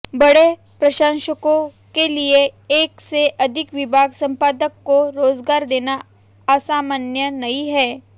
बड़े प्रकाशनों के लिए एक से अधिक विभाग संपादक को रोजगार देना असामान्य नहीं है